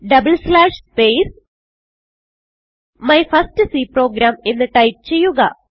double slash space my first C programഎന്ന് type ചെയ്യുക